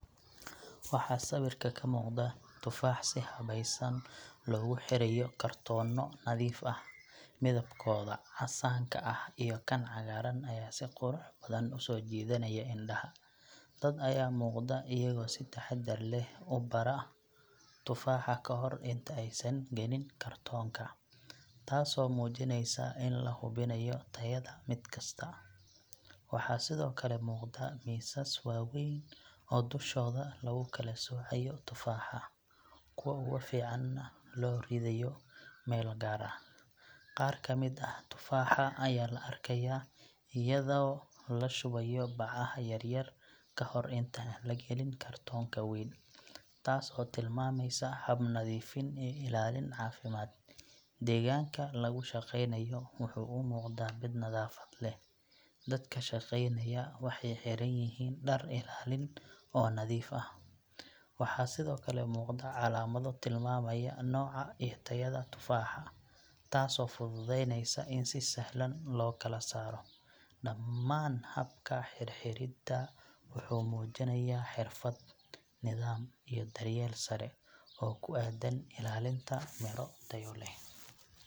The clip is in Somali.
Waxaa sawirka ka muuqda tufaax si habaysan loogu xirayo kartoono nadiif ah, midabkooda casaanka ah iyo kan cagaaran ayaa si qurux badan u soo jiidanaya indhaha. Dad ayaa muuqda iyagoo si taxadar leh u baara tufaaxa kahor inta aysan gelin kartoonka, taasoo muujinaysa in la hubinayo tayada mid kasta. Waxaa sidoo kale muuqda miisas waaweyn oo dushooda lagu kala soocayo tufaaxa, kuwa ugu fiicanna loo ridayo meel gaar ah. Qaar ka mid ah tufaaxa ayaa la arkayaa iyadoo la shubayo bacaha yar yar ka hor inta aan la galin kartoonka weyn, taas oo tilmaamaysa hab-nadiifin iyo ilaalin caafimaad. Deegaanka lagu shaqaynayo wuxuu u muuqdaa mid nadaafad leh, dadka shaqaynayana waxay xiran yihiin dhar ilaalin ah oo nadiif ah. Waxaa sidoo kale muuqda calaamado tilmaamaya nooca iyo tayada tufaaxa, taasoo fududaynaysa in si sahlan loo kala saaro. Dhammaan habka xirxiridda wuxuu muujinayaa xirfad, nidaam iyo daryeel sare oo ku aaddan ilaalinta miro tayo leh.